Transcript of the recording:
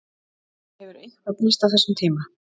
Hefur eitthvað breyst á þessum tíma?